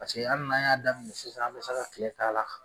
Paseke ali n'an y'a daminɛ sisan an be se ka kile a la